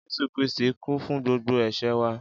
Jesu Kiristí kú fun gbogbo èsé wa.